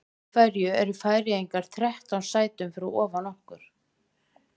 Af hverju eru Færeyjar þrettán sætum fyrir ofan okkur?